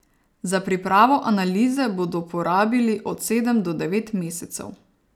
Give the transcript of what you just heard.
Za pripravo analize bodo porabili od sedem do devet mesecev.